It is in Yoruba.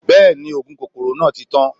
Bẹ́ẹ̀ni, oògùn kòkòrò náà ti tán